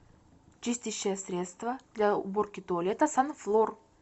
чистящее средство для уборки туалета санфлор